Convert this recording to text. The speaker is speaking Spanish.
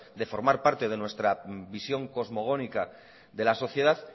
de formar parte de nuestra visión cosmogónica de la sociedad